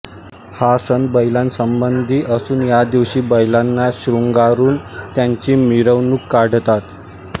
हा सण बैलांसंबंधी असून या दिवशी बैलांना शृंगारून त्यांची मिरवणूक काढतात